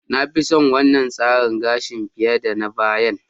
Na fi son wannan tsarin gashin fiye da na bayan.